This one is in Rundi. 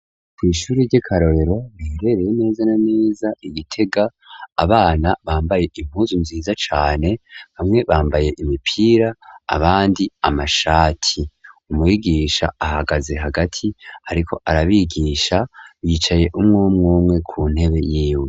Kw'ishuri ry'ekarorero birereye meza naneza igitega abana bambaye impuzu nziza cane bamwe bambaye imipira abandi amashati umwigisha ahagaze hagati, ariko arabigisha bicaye umwe umwumwe ku ntebe yiwe.